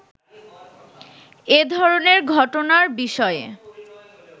“এ ধরনের ঘটনার বিষয়ে